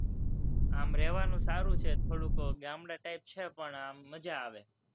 આમ રહેવાનું સારું છે, થોડું ગામડાં type છે, પણ મજા આવે,